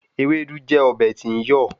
Ewédú jẹ́ ọbẹ̀ tí ń yọ̀